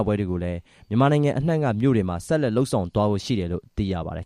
ပွဲတွေကို မြန်မာနိုင်ငံအနှံ့က မြို့တွေမှာ ပြုလုပ်သွားမယ်လို့ သိရပါတယ်